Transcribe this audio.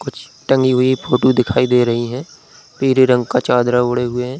कुछ टगीं हुई फोटो दिखाई दे रही हैं पीले रंग का चादरा ओढ़े हुए है।